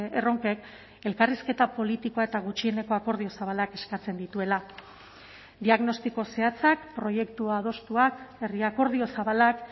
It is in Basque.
erronkek elkarrizketa politikoa eta gutxieneko akordio zabalak eskatzen dituela diagnostiko zehatzak proiektu adostuak herri akordio zabalak